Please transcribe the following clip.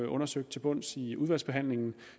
undersøgt til bunds i udvalgsbehandlingen